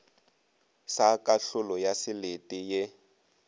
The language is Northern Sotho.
sa kahlolo ya selete ye